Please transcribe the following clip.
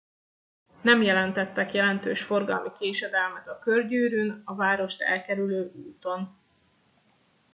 nem jelentettek jelentős forgalmi késedelmet a körgyűrűn a várost elkerülő úton